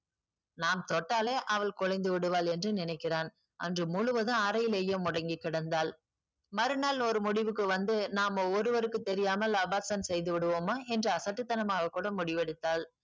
நாம் தொட்டாலே அவள் குலைந்து விடுவாள் என்று நினைக்கிறான் அன்று முழுவதும் அறையிலேயே முடங்கி கிடந்தாள் மறுநாள் ஒரு முடிவுக்கு வந்து நாம ஒருவருக்கும் தெரியாமல் abortion செய்து விடுவோமா என்று அசட்டுத்தனமாக கூட முடிவெடுத்தாள்